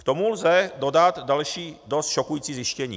K tomu lze dodat další dost šokující zjištění.